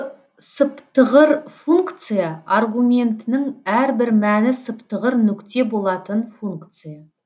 сыптығыр функция аргументінің әрбір мәні сыптығыр нүкте болатын функция